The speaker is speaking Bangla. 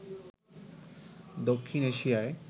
দক্ষিণ এশিয়ায়